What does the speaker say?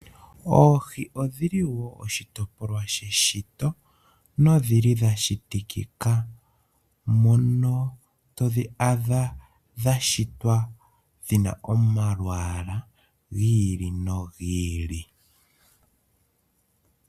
Oohi odhi li wo oshitopolwa sheshito na odhili dha shitikika, moka to adha dha shitwa dhina omalwaala giili nogi ili.